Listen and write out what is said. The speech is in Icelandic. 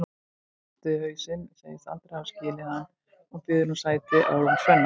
Bjössi hristir hausinn, segist aldrei hafa skilið hann og býður sér sæti á rúmi Svenna.